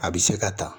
A bɛ se ka ta